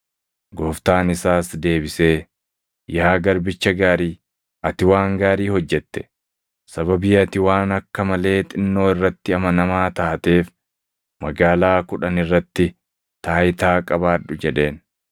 “Gooftaan isaas deebisee, ‘Yaa garbicha gaarii, ati waan gaarii hojjette. Sababii ati waan akka malee xinnoo irratti amanamaa taateef, magaalaa kudhan irratti taayitaa qabaadhu’ jedheen.